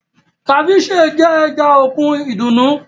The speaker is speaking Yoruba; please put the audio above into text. Ceviche jẹ́ ẹja òkun ìdùnnú